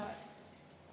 Proua minister, palun!